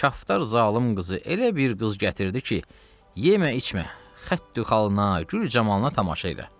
Kaftar zalım qızı elə bir qız gətirdi ki, yemə, içmə, xəttü xalına, gül camalına tamaşa elə.